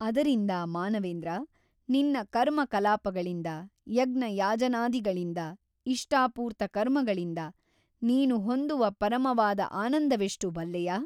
ಅದರಿಂದ ಮಾನವೇಂದ್ರ ನಿನ್ನ ಕರ್ಮ ಕಲಾಪಗಳಿಂದ ಯಜ್ಞಯಾಜನಾದಿಗಳಿಂದ ಇಷ್ಟಾಪೂರ್ತ ಕರ್ಮಗಳಿಂದ ನೀನು ಹೊಂದುವ ಪರಮವಾದ ಆನಂದವೆಷ್ಟು ಬಲ್ಲೆಯಾ ?